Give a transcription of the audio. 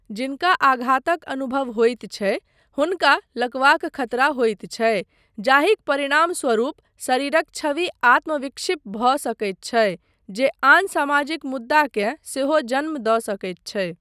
जिनका आघातक अनुभव होइत छै हुनका लकवाक खतरा होइत छै जाहिक परिणामस्वरूप शरीरक छवि आत्म विक्षिप्त भऽ सकैत छै जे आन सामाजिक मुद्दाकेँ सेहो जन्म दऽ सकैत छै।